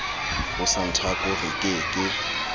ho santaco re ke ke